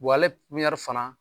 fana